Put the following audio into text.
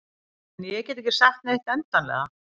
En ég get ekki sagt neitt endanlega.